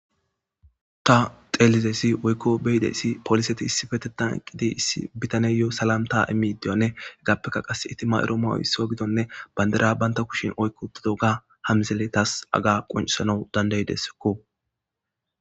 Ta xelidaysi woyko besidaysi poliseti issipetetan eqidi issi bitaneyo salamta imidi diyogane hegapeka qasi eti ma'iro ma'oy isuwa gidogane bandira banta kushen oyqi utidoga ha missile tas haga qonc'isanaw danda'desko.